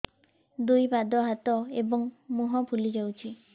ଦୁଇ ପାଦ ହାତ ଏବଂ ମୁହଁ ଫୁଲି ଯାଉଛି